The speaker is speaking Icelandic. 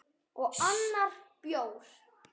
Og annar bjór.